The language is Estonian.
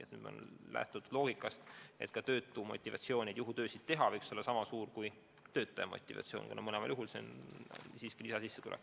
Siin on lähtutud loogikast, et ka töötu motivatsioon juhutöid teha võiks olla sama suur kui tööl käiva inimese motivatsioon, kuna mõlemal juhul see on siiski lisasissetulek.